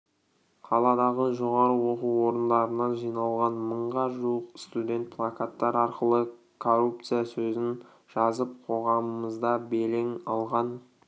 қаладағы жоғарғы оқу орындарынан жиналған мыңға жуық студент плакаттар арқылы коррупция сөзін жазып қоғамымызда белең алған